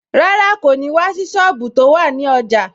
Rárá, kò ní wá sí sọ́ọ̀bù tó wà ní ọjà